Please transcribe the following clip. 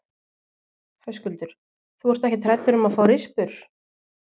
Höskuldur: Þú ert ekkert hræddur um að fá rispur?